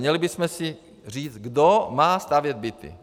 Měli bychom si říct, kdo má stavět byty.